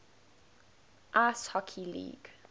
ice hockey league